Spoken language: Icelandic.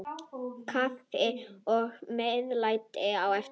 Kaffi og meðlæti á eftir.